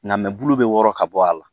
Nka bulu bɛ wɔɔrɔ ka bɔ a la